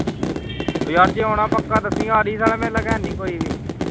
ਉਹੋ ਯਾਰ ਜੇ ਆਉਣਾ ਪੱਕਾ ਦੱਸੀਂ ਆੜੀ ਸਾਲਿਆ ਕੋਈ ਨਹੀਂ ਮੇਰੇ ਲਾਗੇ